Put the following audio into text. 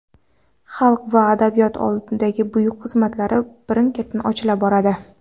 xalq va adabiyot oldidagi buyuk xizmatlari birin-ketin ochila boradi.